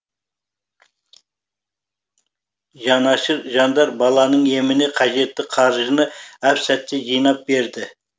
жанашыр жандар баланың еміне қажетті қаржыны әп сәтте жинап берді